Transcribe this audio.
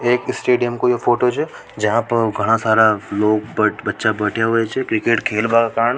एक स्टेडियम को यह फोटो छ जहां पर घणा सारा लोग बच्चा बड़ा हुए से क्रिकेट खेलबा क कारण --